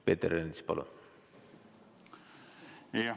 Peeter Ernits, palun!